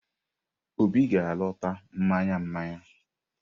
Obi ga-alọta mmanya mmanya.